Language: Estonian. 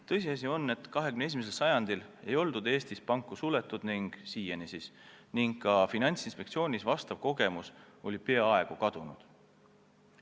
Tõsiasi on, et 21. sajandil ei oldud Eestis panku suletud ning ka Finantsinspektsioonis oli sellekohane kogemus peaaegu kadunud.